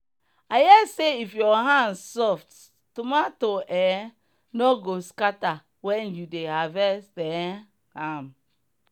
i hear say if your hand soft tomato um no go scatter when you dey harvest um am.